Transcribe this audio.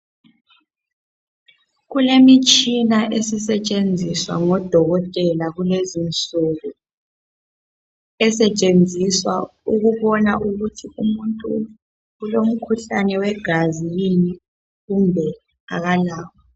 Kulemitshina esisetshenziswa ngodokotela kulezi insuku esetshenziswa ukubona ukuthi umuntu ulomkhuhlane wegazi yini kumbe akalawo.